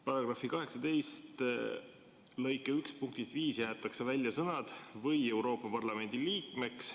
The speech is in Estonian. " Paragrahvi 18 lõike 1 punktist 5 jäetakse välja sõnad "või Euroopa Parlamendi liikmeks".